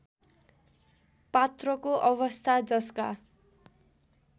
पात्रको अवस्था जसका